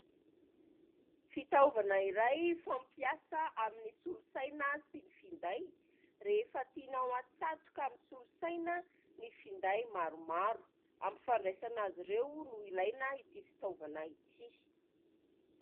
Fitaovana iray fampiasa amin'ny solosaina sy ny finday, rehefa tianao hatsatoka amin'ny solosaina ny finday maromaro. Ampifandraisana azy ireo no ilaina ity fitaovana ity.